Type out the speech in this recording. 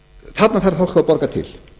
þarna þarf fólk að borga til